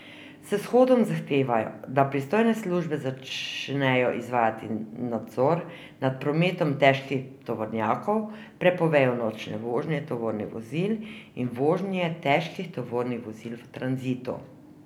S shodom zahtevajo, da pristojne službe začnejo izvajati nadzor nad prometom težkih tovornjakov, prepovejo nočne vožnje tovornih vozil in vožnje težkih tovornih vozil v tranzitu.